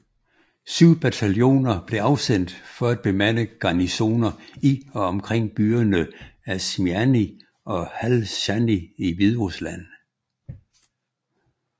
Syv bataljoner blev afsendt for at bemande garnisoner i og omkring byerne Ašmiany og Halšany i Hviderusland